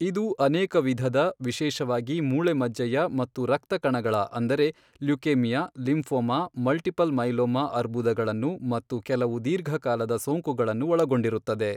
ಇದು ಅನೇಕ ವಿಧದ, ವಿಶೇಷವಾಗಿ ಮೂಳೆ ಮಜ್ಜೆಯ ಮತ್ತು ರಕ್ತ ಕಣಗಳ ಅಂದರೆ, ಲ್ಯುಕೇಮಿಯಾ, ಲಿಂಫೋಮಾ, ಮಲ್ಟಿಪಲ್ ಮೈಲೋಮಾ ಅರ್ಬುದಗಳನ್ನು, ಮತ್ತು ಕೆಲವು ದೀರ್ಘಕಾಲದ ಸೋಂಕುಗಳನ್ನು ಒಳಗೊಂಡಿರುತ್ತದೆ.